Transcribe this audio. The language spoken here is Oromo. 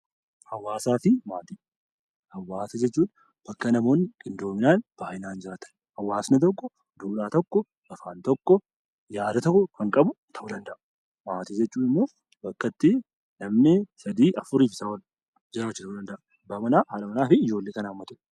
Hawaasa jechuun bakka namoonni qindoominaan, baay'inaan jiraatan. Hawaasni tokko duudhaa tokko, afaan tokko, nyaata tokko kan qabu ta'uu danda'a. Maatii jechuun immoo bakka itti namni sadii afurii fi isaa ol jiraachuu danda'a. Haadha manaa, abbaa manaa fi ijoollee kan haammatudha.